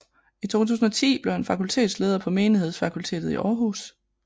I 2010 blev han fakultetsleder på Menighedsfakultetet i Aarhus